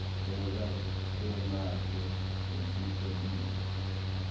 gcoka tembatfo letihlobile